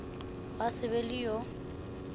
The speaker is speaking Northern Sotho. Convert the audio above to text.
gwa se be le yo